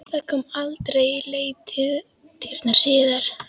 Það kom aldrei í leitirnar síðar.